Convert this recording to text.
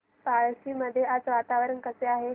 पळशी मध्ये आज वातावरण कसे आहे